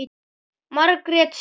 Margrét systir.